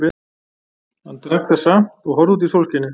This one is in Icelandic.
Hann drakk það samt og horfði út í sólskinið.